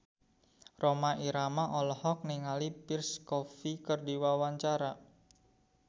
Rhoma Irama olohok ningali Pierre Coffin keur diwawancara